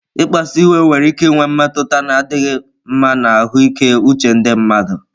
Ịkpasuịwe nwere ike inwe mmetụta na-adịghị mma na ahụike uche ndị mmadụ